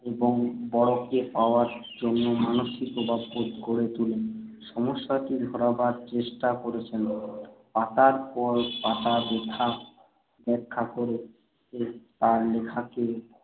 এবং বড়কে পাওয়ার জন্য মানসিক অভাববোধ গড়ে তুলে সমস্যাটি ধরাবার চেষ্টা করেছেন। পাতার পর পাতা ব্যাখ্যা ব্যাখ্যা করে তাঁর লেখাকে